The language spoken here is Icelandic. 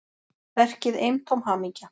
Verkið eintóm hamingja